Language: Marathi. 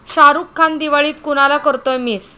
शाहरुख खान दिवाळीत कुणाला करतोय मिस?